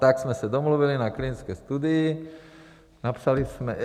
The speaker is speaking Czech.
Tak jsme se domluvili na klinické studii, napsali jsme...